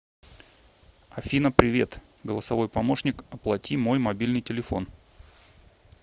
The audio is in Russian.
афина привет голосовой помощник оплати мой мобильный телефон